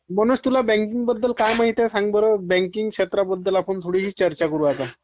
मनोज, तुला बँकिंग बद्दल काय माहिती आहे सांग बर. बँकिंग क्षेत्राबद्दल आपण थोडी चर्चा करू आता.